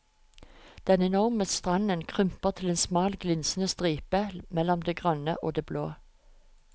Den enorme stranden krymper til en smal glinsende stripe mellom det grønne og det blå.